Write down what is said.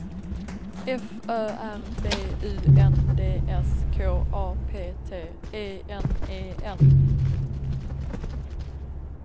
F Ö R B U N D S K A P T E N E N